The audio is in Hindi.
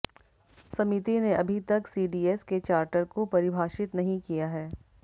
समिति ने अभी तक सीडीएस के चार्टर को परिभाषित नहीं किया है